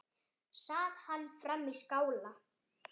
Sat hann frammi í skála.